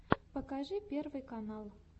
покажи первый канал